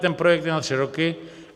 Ten projekt je na tři roky.